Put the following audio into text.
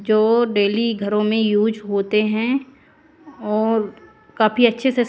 जो डेली घरों में यूज होते हैं और काफी अच्छे से--